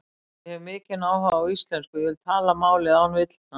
Ég hef mikinn áhuga á íslensku og ég vil tala málið án villna.